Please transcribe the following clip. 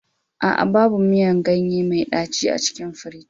A'a, babu miyan ganye mai daci a cikin firji.